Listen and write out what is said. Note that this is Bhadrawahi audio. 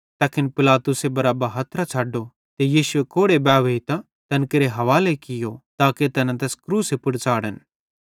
तैखन पिलातुसे बरअब्बा हथरां छ़ड्डो ते यीशुए कोड़े बावैहीतां तैन केरे हवाले कियो ताके तैना तैस क्रूसे पुड़ च़ाढ़न